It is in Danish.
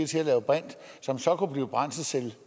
til at lave brint som så kunne blive brændselscelle